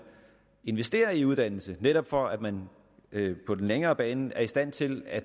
investerer i uddannelse netop for at man på den længere bane er i stand til at